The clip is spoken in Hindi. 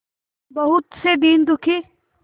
बहुत से दीन दुखी